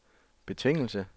betingelse